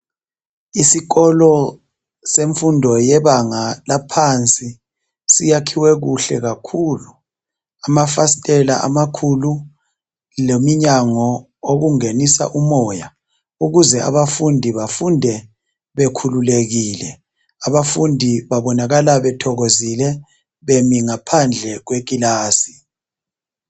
Isikolo semfundo yebanga laphansi siyakhiwe kuhle kakhulu .Kulamafasitela amakhulu leminyango okungenisa umoya ukuze abafundi bafunde bekhululekile .Abafundi babonakala bethokozile bemi ngaphandle kwekilasi .